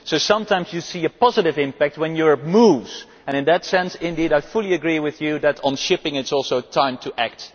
So sometimes you see a positive impact when Europe moves, and in that sense indeed I fully agree with you that on shipping it is also time to act.